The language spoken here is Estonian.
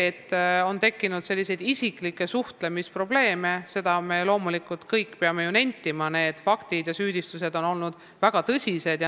Aga on tekkinud isiklikke suhtlemisprobleeme ja me kõik peame loomulikult nentima, et need faktid ja süüdistused on olnud väga tõsised.